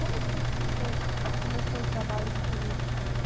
Como foi que você começou o trabalho com o Fazenda História?